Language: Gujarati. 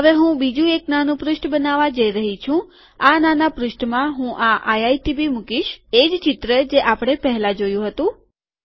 હવે હું બીજું એક નાનું પૃષ્ઠ બનાવવા જઈ રહ્યો છું અને આ નાના પૃષ્ઠમાં હું આ આઈઆઈટીબી મુકીશ એજ ચિત્ર જે આપણે પહેલા જોયું હતું